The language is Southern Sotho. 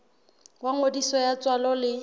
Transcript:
wa ngodiso ya tswalo le